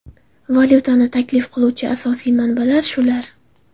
Valyutani taklif qiluvchi asosiy manbalar shular.